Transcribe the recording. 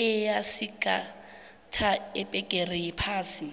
eyasigatha ibhegere yephasi